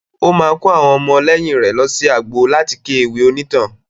Ó máa kó àwọn ọmọlẹ́yìn rè lọsí agbo láti ké ewì onítàn.